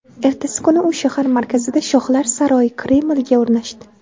Ertasi kuni u shahar markazida shohlar saroyi Kremlga o‘rnashdi.